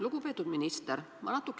Lugupeetud minister!